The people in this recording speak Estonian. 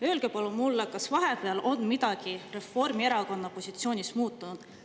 Palun öelge mulle, kas vahepeal on midagi Reformierakonna positsioonis muutunud.